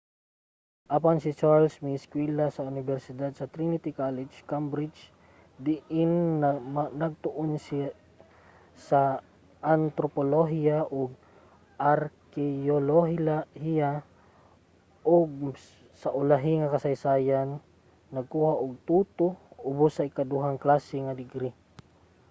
apan si charles miiskwela sa unibersidad sa trinity college cambridge diin nagtuon siya sa antropolohiya ug arkeyolohiya ug sa ulahi kasaysayan nakakuha og 2:2 ubos nga ikaduhang klase nga degree